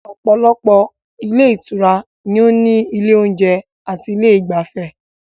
Òpòlopò ilé Ìtura ni ó ní ilé ìjeun ati ilé igbafê